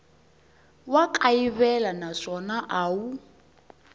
wa kayivela naswona a wu